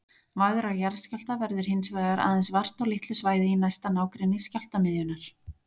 Vægra jarðskjálfta verður hins vegar aðeins vart á litlu svæði í næsta nágrenni skjálftamiðjunnar.